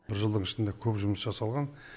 бір жылдың ішінде көп жұмыс жасалған